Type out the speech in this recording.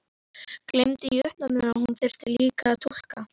Gleymdi í uppnáminu að hún þurfti líka að túlka.